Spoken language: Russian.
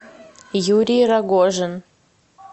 юрий рогожин